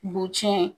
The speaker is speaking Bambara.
Bu tiɲɛ